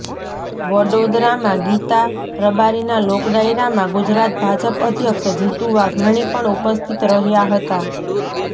વડોદરામાં ગીતા રબારીના લોકડાયરામાં ગુજરાત ભાજપ અધ્યક્ષ જીતુ વાઘાણી પણ ઉપસ્થિત રહ્યાં હતા